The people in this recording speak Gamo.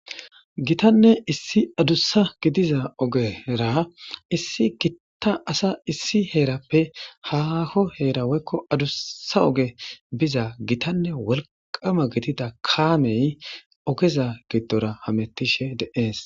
Gittanne issi adussa gidiza oggen heeran issi ita asa issi heerappe haaho heera woykko adussa oge biza gitanne wolqqama gidida kaame ogeza gidora haametishe de7ees.